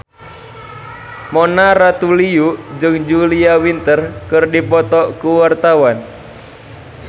Mona Ratuliu jeung Julia Winter keur dipoto ku wartawan